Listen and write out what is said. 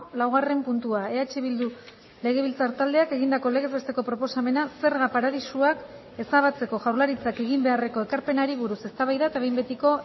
laugarren puntua eh bildu legebiltzar taldeak egindako legez besteko proposamena zerga paradisuak ezabatzeko jaurlaritzak egin beharreko ekarpenari buruz eztabaida eta behin betiko